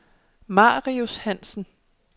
Marius Hansen